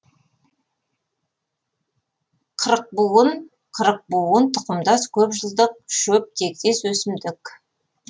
қырықбуын қырықбуын тұқымдас көпжылдық шөп тектес өсімдік